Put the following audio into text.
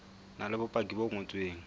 na le bopaki bo ngotsweng